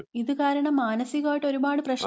ഇത് കാരണം മാനസികമായിട്ട് ഒരുപാട്പ്രശ്നംണ്ട്